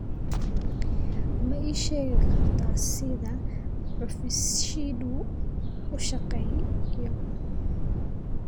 ma ii sheegi kartaa sida cufisjiishu u shaqeeyo